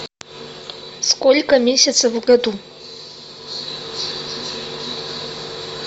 сколько месяцев в году